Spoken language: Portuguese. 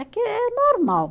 Aqui é normal.